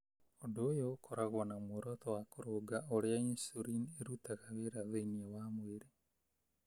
Ũndũ ũyũ ũkoragwo na muoroto wa kũrũnga ũrĩa insulin ĩrutaga wĩra thĩinĩ wa mwĩrĩ.